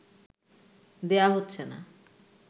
দেয়া হচ্ছে না